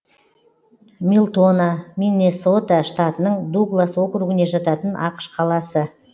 милтона миннесота штатының дуглас округіне жататын ақш қаласы